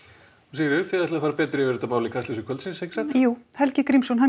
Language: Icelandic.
Sigríður þið ætlið að fara betur yfir þetta mál í Kastljósi kvöldsins já Helgi Grímsson